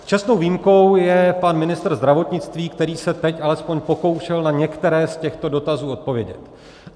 Čestnou výjimkou je pan ministr zdravotnictví, který se teď alespoň pokoušel na některé z těchto dotazů odpovědět.